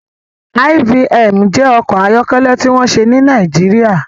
IVM jẹ́ ọkọ̀ ayọ́kẹ́lẹ́ tí wọ́n ṣe ní Nàìjíríà